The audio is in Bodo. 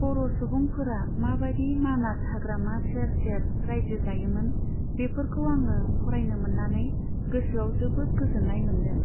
बर' सुबुंफोरा माबादि मानास हाग्रामा सेर सेर रायजो जायोमोन बेफोरखाै आङो फरायनो मोननानै गोसाेयाव जोबोद गाोजाेननाय माेनदों।